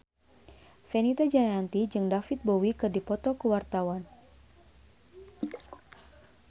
Fenita Jayanti jeung David Bowie keur dipoto ku wartawan